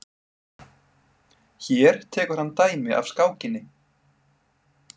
Hér tekur hann dæmi af skákinni.